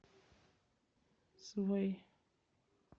свэй